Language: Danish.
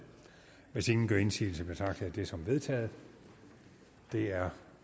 hvis ingen gør indsigelse betragter jeg det som vedtaget det er